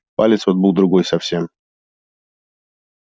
палец вот был другой совсем